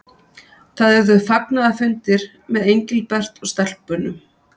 Það urðu fagnaðarfundir með Engilbert og stelpunum.